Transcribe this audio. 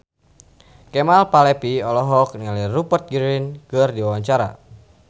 Kemal Palevi olohok ningali Rupert Grin keur diwawancara